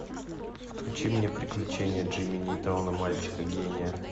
включи мне приключения джимми нейтрона мальчика гения